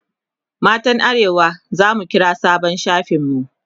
matan arewa zamu kira sabon shafin mu